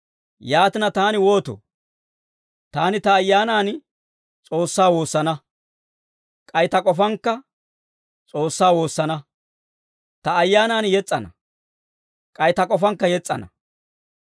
Yaatina, taani wootoo? Taani ta ayyaanan S'oossaa woosana; k'ay ta k'ofankka S'oossaa woosana. Ta ayyaanan yes's'ana; k'ay ta k'ofankka yes's'ana.